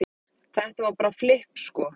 Þetta var bara flipp sko